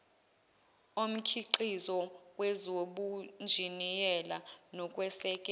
omkhiqizo kwezobunjiniyela nokwesekela